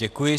Děkuji.